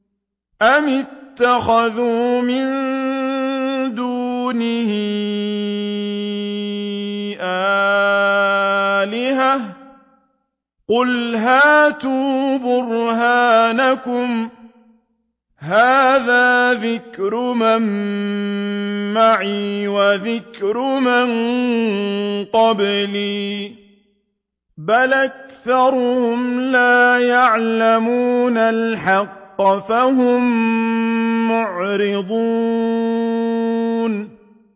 أَمِ اتَّخَذُوا مِن دُونِهِ آلِهَةً ۖ قُلْ هَاتُوا بُرْهَانَكُمْ ۖ هَٰذَا ذِكْرُ مَن مَّعِيَ وَذِكْرُ مَن قَبْلِي ۗ بَلْ أَكْثَرُهُمْ لَا يَعْلَمُونَ الْحَقَّ ۖ فَهُم مُّعْرِضُونَ